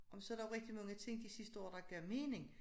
Og så der jo rigtig mange ting de sidste år der gav mening